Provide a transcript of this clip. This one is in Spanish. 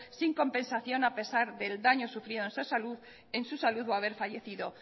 sin compensación a pesar del daño sufrido en su salud o haber fallecido